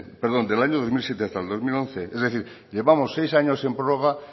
perdón del año dos mil siete hasta el dos mil once es decir llevamos seis años en prórroga